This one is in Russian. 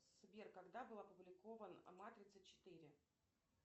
сбер когда был опубликован матрица четыре